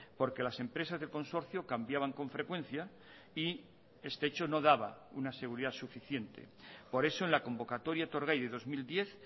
porque las empresas del consorcio cambiaban con frecuencia y este hecho no daba una seguridad suficiente por eso en la convocatoria etorgai de dos mil diez